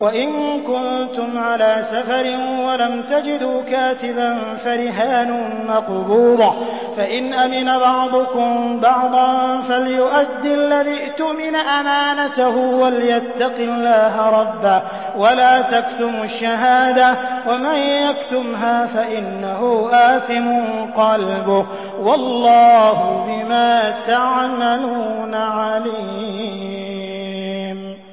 ۞ وَإِن كُنتُمْ عَلَىٰ سَفَرٍ وَلَمْ تَجِدُوا كَاتِبًا فَرِهَانٌ مَّقْبُوضَةٌ ۖ فَإِنْ أَمِنَ بَعْضُكُم بَعْضًا فَلْيُؤَدِّ الَّذِي اؤْتُمِنَ أَمَانَتَهُ وَلْيَتَّقِ اللَّهَ رَبَّهُ ۗ وَلَا تَكْتُمُوا الشَّهَادَةَ ۚ وَمَن يَكْتُمْهَا فَإِنَّهُ آثِمٌ قَلْبُهُ ۗ وَاللَّهُ بِمَا تَعْمَلُونَ عَلِيمٌ